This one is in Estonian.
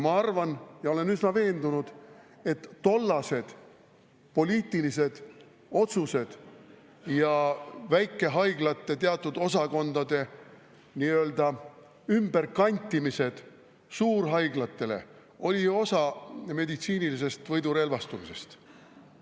Ma arvan ja olen üsna veendunud, et tollased poliitilised otsused ja väikehaiglate teatud osakondade nii-öelda ümberkantimised suurhaiglatele oli osa meditsiinilisest võidurelvastumisest.